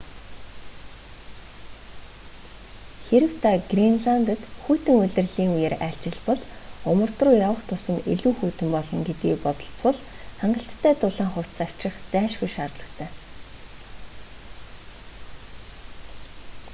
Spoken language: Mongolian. хэрэв та гренландад хүйтэн улирлын үеэр айлчилбал умард руу явах тусам илүү хүйтэн болно гэдгийг бодолцвол хангалттай дулаан хувцас авчрах зайлшгүй шаардлагатай